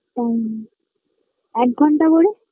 time এক ঘণ্টা করে